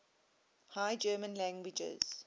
high german languages